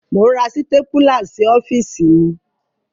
Mò ń ra sítépúlá sí ọ́fíìsì mi.